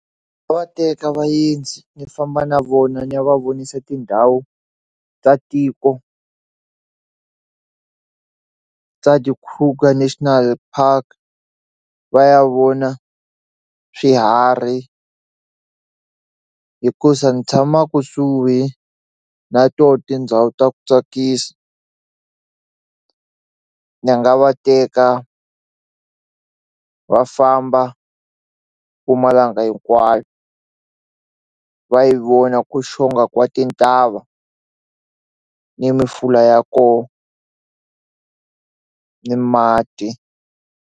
Va teka vaendzi ni famba na vona ni ya va vonisa tindhawu ta tiko ta ti-Kruger National Park va ya vona swiharhi hikuva ni tshama kusuhi na tona tindhawu ta ku tsakisa ni nga va teka va famba Mpumalanga hinkwayo va yi vona ku xonga ka tintava ni mifula ya kona ni mati.